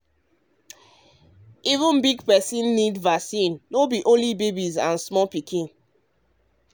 um even big person um need vaccine no be only babies and small pikin.